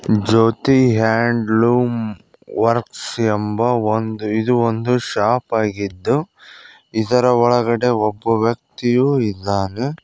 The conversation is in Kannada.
ಜ್ಯೋತಿ ಹ್ಯಾಂಡ್ಲೂಮ್ ವರ್ಕ್ಸ್ ಎಂಬ ಒಂದು ಇದು ಒಂದು ಶಾಪ್ ಆಗಿದ್ದು ಇದರ ಒಳಗಡೆ ಒಬ್ಬ ವ್ಯಕ್ತಿಯು ಇದ್ದಾನೆ.